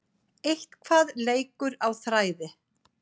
Eitthvað leikur á þræði